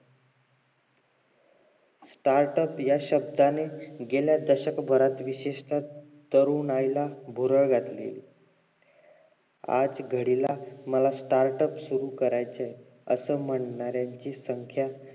startup या शब्दानेच गेल्या दशकभरात विशेषतः तरुणाईला भुरळ घातली आज घडीला मला startup सुरु करायच असं म्हणणाऱ्यांची संख्या